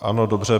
Ano, dobře.